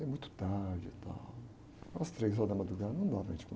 É muito tarde e tal, às três horas da madrugada, não dá para gente